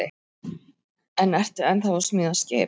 En ertu ennþá að smíða skip?